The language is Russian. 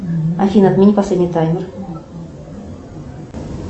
афина отмени последний таймер